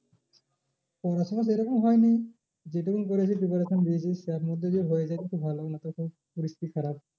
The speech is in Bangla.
পড়াশোনা সে রকম হয়নি। যে টুকু করেছি preparation দিয়েছি তার মধ্যে যদি হয়ে যায় তো ভালো না তো সেই পরিস্থিতি খারাপ।